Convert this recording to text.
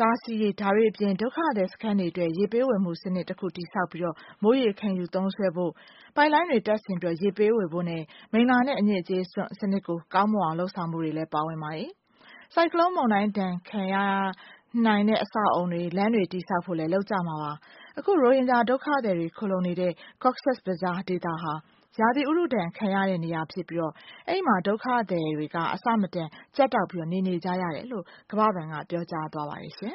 တားဆီးရေး၊ ဒါတွေအပြင် ဒုက္ခသည်စခန်းအတွင်း ရေ ပေးဝယ်မှုစနစ် တခုတည်ဆောက်ပြီးတော့ မိုးရေ ခံယူသုံးစွဲဖို့၊ ပိုက်လိုင်းတွေ တပ်ဆင်ပြီးတော့ ရေပေးဝေဖို့နဲ့ မိလ္လာနဲ့ အညစ်အကြေးစွန့် စနစ်ကို ကောင်းမွန်အောင် လုပ်ဆောင်ဖို့တွေလည်း ပါဝင်ပါတယ်။ ဆိုင်ကလုန်း မုန်တိုင်းဒဏ် ခံနိုင်တဲ့ အဆောက်အအုံတွေ၊ လမ်းတွေ တည်ဆောက်ဖို့ကိုလည်း လုပ်ကြမှာပါ။ အခု ရိုဟင်ဂျာ ဒုက္ခသည်တွေ ခိုလှုံနေတဲ့ Cox's Bazar ဒေသဟာ ရာသီဥတုဒဏ်ခံရတဲ့ ဒေသဖြစ်ပြီးတော့ အဲ့မှာ ဒုက္ခသည်တွေက ကြပ်ကြပ်တည်းတည်းနဲ့ နေနေကြရတယ်လို့ကမ္ဘာဘဏ်က ပြောကြားသွားပါတယ်။